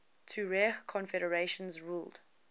tuareg confederations ruled